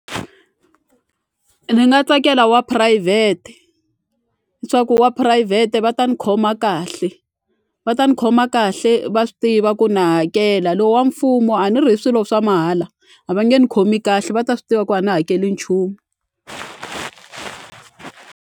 Ni nga tsakela wa phurayivhete wa phurayivhete va ta ni khoma kahle va ta ni khoma kahle va swi tiva ku na hakela lowu wa mfumo a ni ri hi swilo swa mahala a va nge ni khomi kahle va ta swi tiva ku a ni hakeli nchumu.